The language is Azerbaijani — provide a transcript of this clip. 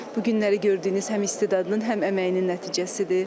Bu günləri gördüyünüz həm istedadının, həm əməyinin nəticəsidir.